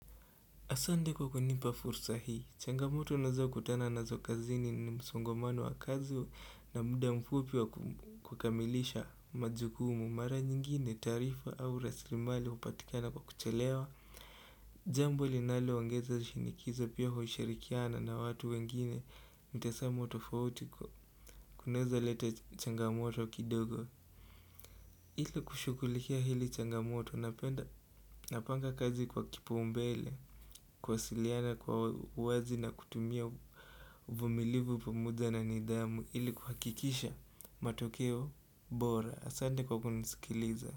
Asante kwa kunipa fursa hii, changamoto nazo kutana nazo kazini ni msongomano wa kazi wa na muda mfupi wa kukamilisha majukumu, mara nyingine taarifa au rasilimali hupatikiana kwa kuchelewa Jambo linaloongeza shinikizo pia hushirikiana na watu wengine mtazamo tofauti kunaeza leta changamoto kidogo Hili kushughulikia hili changamoto napenda napanga kazi kwa kipaombele kuwasiliana kwa uwazi na kutumia uvumilivu pamoja na nidjamu ili kuhakikisha matokeo bora asante kwa kunisikiliza.